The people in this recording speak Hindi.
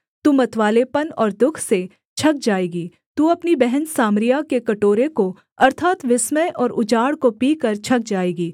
तू मतवालेपन और दुःख से छक जाएगी तू अपनी बहन सामरिया के कटोरे को अर्थात् विस्मय और उजाड़ को पीकर छक जाएगी